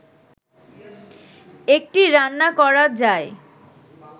এটি রান্না করা যায়